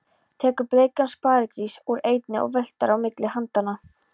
Tekur bleikan sparigrís úr einni og veltir á milli handanna.